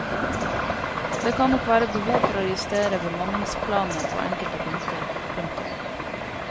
Det kan nok være behov for å justere bemanningsplanene på enkelte punkter. punktum